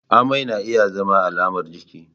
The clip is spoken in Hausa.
Amai na iya zama alamar ciki.